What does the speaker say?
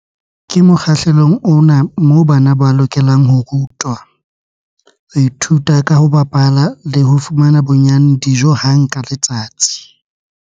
Ke mokgahlelong ona moo bana ba lokelang ho rutwa, ho ithuta ka ho bapala le ho fumana bonnyane dijo hang ka letsatsi.